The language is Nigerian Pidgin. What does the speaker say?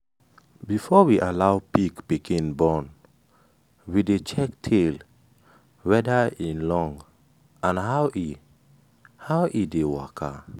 before we allow pig pikin born we dey check tail weda im long and how e how e dey waka.